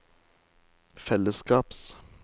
fellesskaps